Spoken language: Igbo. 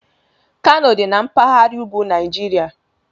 Kano dị na mpaghara ugwu Nigeria